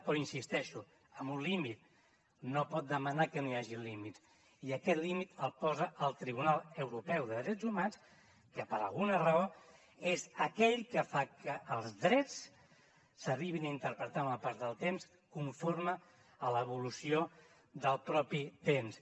però hi insisteixo amb un límit no pot demanar que no hi hagi límits i aquest límit el posa el tribunal europeu de drets humans que per alguna raó és aquell que fa que els drets s’arribin a interpretar amb el pas del temps conforme a l’evolució del mateix temps